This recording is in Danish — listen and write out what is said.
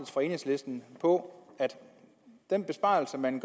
fra enhedslisten på at den besparelse man